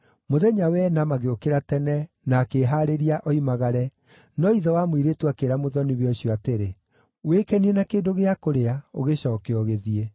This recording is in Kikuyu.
Mũthenya wa ĩna magĩũkĩra tene na akĩĩhaarĩria oimagare, no ithe wa mũirĩtu akĩĩra mũthoni-we ũcio atĩrĩ, “Wĩkenie na kĩndũ gĩa kũrĩa; ũgĩcooke ũgĩthiĩ.”